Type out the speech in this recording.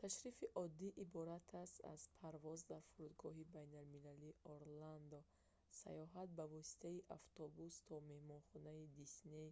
ташрифи оддӣ иборат аст аз парвоз дар фурудгоҳи байналмилалии орландо сайёҳат ба воситаи автобус то меҳмонхонаи дисней